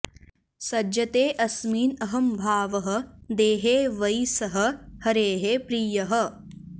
सज्जते अस्मिन् अहम्भावः देहे वै सः हरेः प्रियः